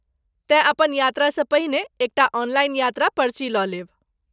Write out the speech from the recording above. तेँ अपन यात्रासँ पहिने एक टा ऑनलाइन यात्रा पर्ची लऽ लेब।